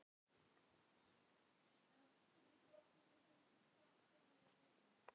Naranja, hvað er jörðin stór?